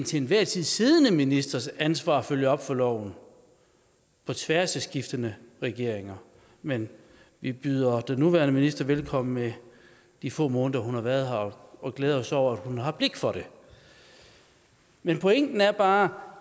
til enhver tid siddende ministers ansvar at følge op på loven på tværs af skiftende regeringer men vi byder den nuværende minister velkommen med de få måneder hun har været her og glæder os over at hun har blik for det men pointen er bare